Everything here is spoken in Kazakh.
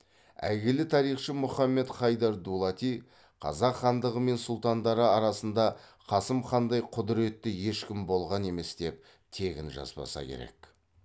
әйгілі тарихшы мұхаммед хайдар дулати қазақ хандығы мен сұлтандары арасында қасым хандай құдіретті ешкім болған емес деп тегін жазбаса керек